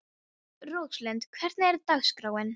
Róslind, hvernig er dagskráin?